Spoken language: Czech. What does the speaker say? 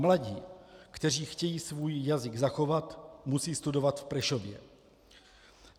Mladí, kteří chtějí svůj jazyk zachovat, musí studovat v Prešově.